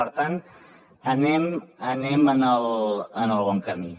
per tant anem en el bon camí